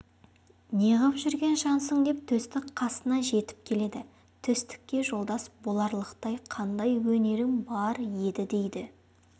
неғып жүрген жансың деп төстік қасына жетіп келеді төстікке жолдас боларлықтай қандай өнерің бар еді дейді